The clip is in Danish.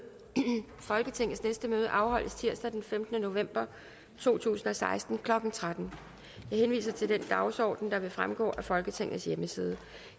folketingets næste møde afholdes tirsdag den femtende november to tusind og seksten klokken tretten jeg henviser til den dagsorden der vil fremgå af folketingets hjemmeside